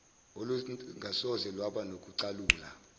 olungasoze lwaba nokucasula